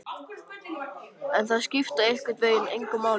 En það skipti einhvern veginn engu máli.